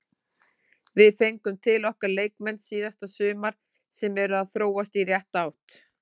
Við fengum til okkar leikmenn síðasta sumar sem eru að þróast í rétta átt.